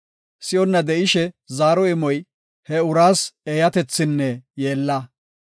Si7onna de7ishe zaaro imoy, he uraas eeyatethinne yeella.